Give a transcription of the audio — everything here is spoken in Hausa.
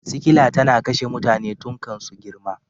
Sikila tana kashe mutane tun kan su girma.